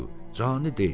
Cani deyildi.